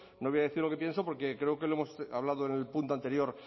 no le voy a decir lo que pienso porque creo que lo hemos hablando en el punto anterior